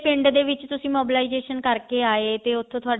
ਪਿੰਡ ਦੇ ਵਿੱਚ ਤੁਸੀਂ mobilization ਕਰਕੇ ਆਏ ਤੇ ਉੱਥੋਂ ਤੁਹਾਡਾ